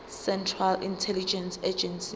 central intelligence agency